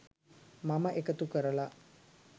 මම එකතු කරලා